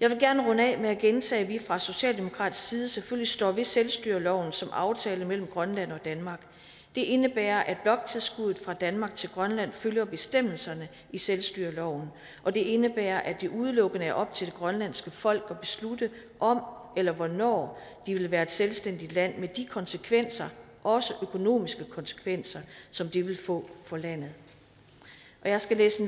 jeg vil gerne runde af med at gentage at vi fra socialdemokratisk side selvfølgelig står ved selvstyreloven som aftale mellem grønland og danmark det indebærer at bloktilskuddet fra danmark til grønland følger bestemmelserne i selvstyreloven og det indebærer at det udelukkende er op til det grønlandske folk at beslutte om eller hvornår de vil være et selvstændigt land med de konsekvenser også økonomiske konsekvenser som det vil få for landet jeg skal læse et